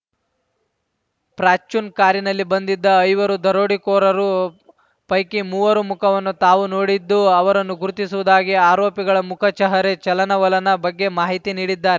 ಪ್ರಾಚ್ರ್ಯೂನ್ ಕಾರಿನಲ್ಲಿ ಬಂದಿದ್ದ ಐವರು ದರೋಡೆಕೋರರು ಪೈಕಿ ಮೂವರ ಮುಖವನ್ನು ತಾವು ನೋಡಿದ್ದು ಅವರನ್ನು ಗುರುತಿಸುವುದಾಗಿ ಆರೋಪಿಗಳ ಮುಖ ಚಹರೆ ಚಲನವಲನ ಬಗ್ಗೆ ಮಾಹಿತಿ ನೀಡಿದ್ದಾರ್